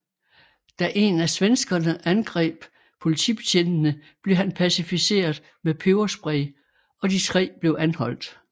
Da en af svenskerne angreb politibetjentene blev han pacificeret med peberspray og de tre blev anholdt